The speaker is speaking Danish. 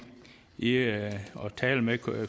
i at tale med